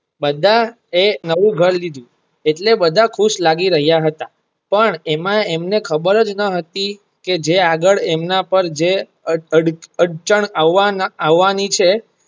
બધા એ નવું ઘર લીધું એટલે બધા ખુશ લાગી રહિયા હતા પણ એમાં એમને ખબર જ ન હતી કે જે આગળ એમના પર જે અડચણ આવવવાની છે.